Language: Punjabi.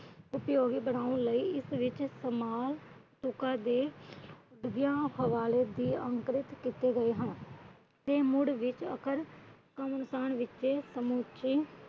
ਉਪਯੋਗੀ ਬਨਾਉਣ ਲਈ ਇਸ ਵਿੱਚ ਸਮਾਲ ਤੁਕਾਂ ਦੇ ਅੰਕੁਰਿਤ ਕੀਤੇ ਗਏ ਹਨ। ਤੇ ਮੁੜ ਸਮੁਚੇ